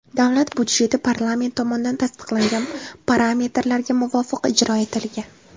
Davlat budjeti parlament tomonidan tasdiqlangan parametrlarga muvofiq ijro etilgan.